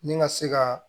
Ni ka se ka